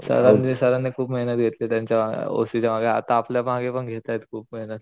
सरांनी सरांनी खूप मेहनत घेतली त्यांच्या ओ सी च्या मागे आता आपल्या मागे पण घेतायत खूप मेहनत.